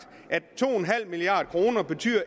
at to milliard kroner